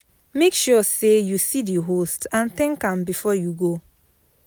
Make sure say you see di host and thank am before you go